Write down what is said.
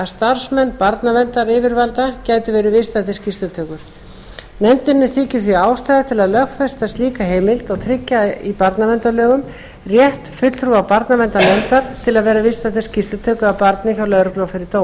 starfsmenn barnaverndaryfirvalda gætu verið viðstaddir skýrslutökur nefndinni þykir því ástæða til lögfesta slíka heimild og tryggja í barnaverndarlögum rétt fulltrúa barnaverndarnefndar til að vera viðstaddur skýrslutöku af barni hjá lögreglu og fyrir